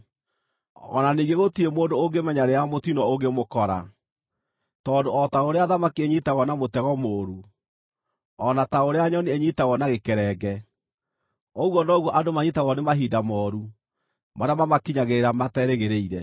O na ningĩ, gũtirĩ mũndũ ũngĩmenya rĩrĩa mũtino ũngĩmũkora: Tondũ o ta ũrĩa thamaki inyiitagwo na mũtego mũũru, o na ta ũrĩa nyoni inyiitagwo na gĩkerenge, ũguo noguo andũ manyiitagwo nĩ mahinda mooru marĩa mamakinyagĩrĩra materĩgĩrĩire.